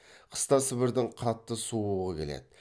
қыста сібірдің қатты суығы келеді